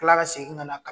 kila ka segin ka na